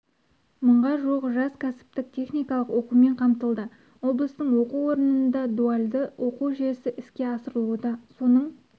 мыңға жуық жас кәсіптік-техникалық оқумен қамтылды облыстың оқу орнында дуальды оқу жүйесі іске асырылуда соның